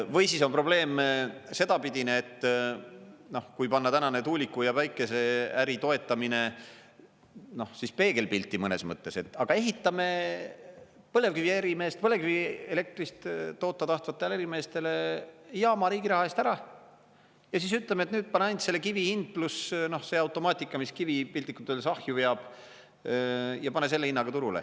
Või siis on probleeme sedapidine, et kui panna tänane tuuliku- ja päikeseäri toetamine peegelpilti mõnes mõttes, et aga ehitame põlevkivielektrist toota tahtvatele ärimeestele jaama riigi raha eest ära ja siis ütleme, et pane ainult selle kivi hind, pluss see automaatika, mis kivi piltlikult öeldes ahju veab, ja pane selle hinnaga turule.